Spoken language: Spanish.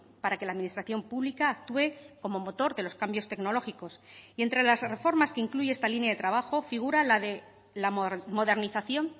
para que la administración pública actúe como motor de los cambios tecnológicos y entre las reformas que incluye esta línea de trabajo figura la de la modernización